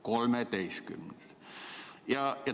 Kolmeteistkümnes!